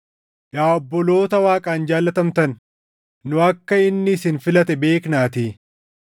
Yaa obboloota Waaqaan jaallatamtan, nu akka inni isin filate beeknaatii;